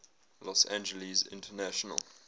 los angeles international